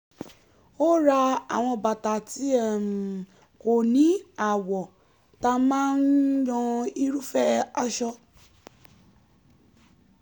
ó ra àwọn bàtà tí um kò ní àwò tá máa um yan irúfẹ́ aṣọ